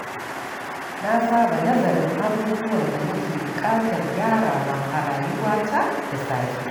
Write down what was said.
Na saba nazarin abubuwan da nake buƙatar gyarawa a rayuwata da safe.